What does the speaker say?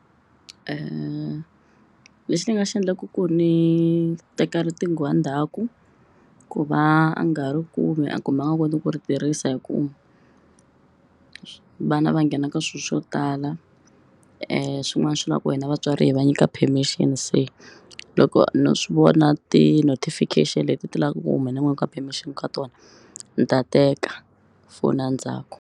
le lexi ni nga xi endlaka ku ni teka riqingho endzhaku ku va a nga ri kumi kumbe a nga koti ku ri tirhisa hi ku vana va nghena ka swilo swo tala swin'wana swi na ku hina vatswari hi va nyika permission se loko no swi vona ti-notification leti ti lavaka ku ka permission ka tona ni ta teka foni a ndzhaku.